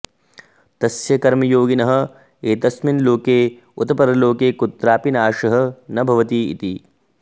तस्य कर्मयोगिनः एतस्मिन् लोके उत परलोके कुत्रापि नाशः न भवति इति